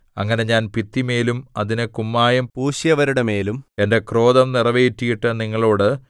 അങ്ങനെ ഞാൻ ഭിത്തിമേലും അതിന് കുമ്മായം പൂശിയവരുടെമേലും എന്റെ ക്രോധം നിറവേറ്റിയിട്ട് നിങ്ങളോട്